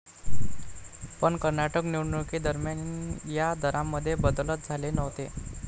पण कर्नाटक निवडणुकीदरम्यान या दरांमध्ये बदलच झाले नव्हते.